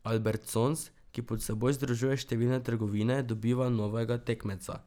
Albertsons, ki pod seboj združuje številne trgovine, dobiva novega tekmeca.